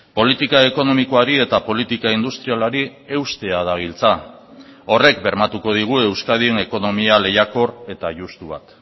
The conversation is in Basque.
politika ekonomikoari eta politika industrialari eustea dabiltza horrek bermatuko digu euskadin ekonomia lehiakor eta justu bat